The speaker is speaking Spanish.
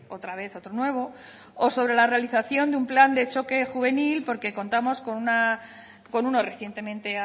otra vez otro nuevo o sobre la realización de un plan de choque juvenil porque contamos con uno recientemente